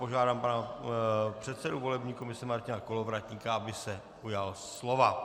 Požádám pana předsedu volební komise Martina Kolovratníka, aby se ujal slova.